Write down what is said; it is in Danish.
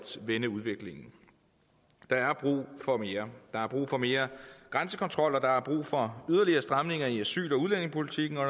vende udviklingen der er brug for mere der er brug for mere grænsekontrol og der er brug for yderligere stramninger i asyl og udlændingepolitikken og